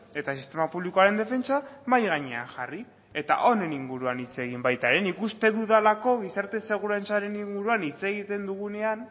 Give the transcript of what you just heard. eta sistema publikoaren defentsa mahai gainean jarri eta honen inguruan hitz egin baita ere nik uste dudalako gizarte segurantzaren inguruan hitz egiten dugunean